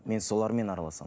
мен солармен араласамын